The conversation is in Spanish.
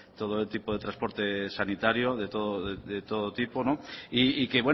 todo tipo de transporte sanitario de todo tipo y que